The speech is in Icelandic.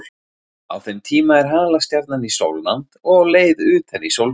Á þeim tíma er halastjarnan í sólnánd og á leið utar í sólkerfið.